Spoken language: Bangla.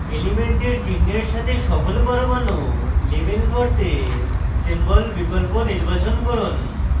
element সংশ্লিষ্ট চিনহের সাথে সকল পরমাণু label করতে symbol বিকল্প নির্বাচন করুন